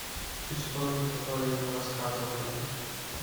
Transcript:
истории которые мы рассказываем